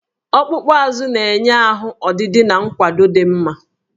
Ọkpụkpụ azụ na-enye ahụ ọdịdị na nkwado dị mma